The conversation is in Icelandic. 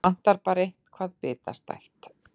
Vantar bara eitthvað bitastætt.